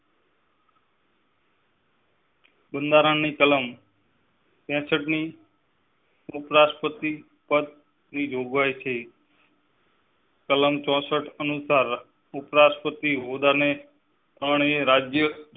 બાંધારણ ની કલમ. ત્રેસતની ઉપરાષ્ટ્રપતિ પદ જોગવાઈ છે કલમ ચોં સઠ અનુસાર, ઉપરાષ્ટ્રપતિ હોદ્દા ને પાણી, રાજ્ય